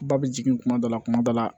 Ba bɛ jigin kuma dɔ la kuma dɔ la